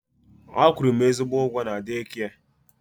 A kwụrụ m ezigbo ụgwọ na deekia.